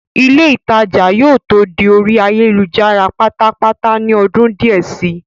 ilé ìtajà yóò tó di orí ayélujára pátápátá ní ọdún díẹ̀ si